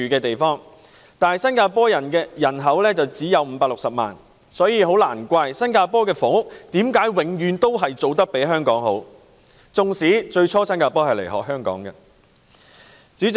但是，新加坡人口只有560萬，難怪新加坡的房屋工作永遠做得較香港好——即使其實以往是新加坡學習香港的做法。